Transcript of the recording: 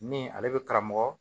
Ni ale bɛ karamɔgɔ